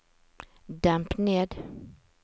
demp ned